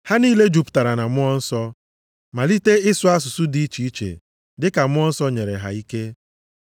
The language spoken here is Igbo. Ha niile jupụtara na Mmụọ Nsọ, malite ịsụ asụsụ dị iche iche dịka Mmụọ Nsọ nyere ha ike.